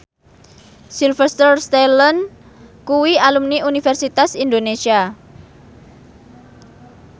Sylvester Stallone kuwi alumni Universitas Indonesia